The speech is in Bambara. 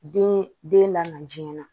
Den den la na jiyɛn na